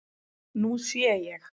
Nú sé ég.